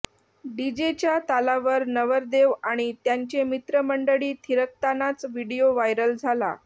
डीजेच्या तालावर नवरदेव आणि त्यांचे मित्रमंडळी थिरकतानाचा व्हिडीओ व्हायरल झाला